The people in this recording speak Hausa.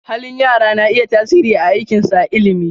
Halin yara na iya tasiri a aikinsu a ilimi.